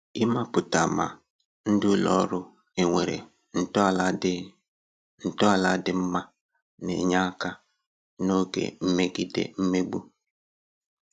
Ịmapụta ma ndị ụlọ ọrụ enwere ntọala dị ntọala dị mma na-enye aka n'oge migede mmegbu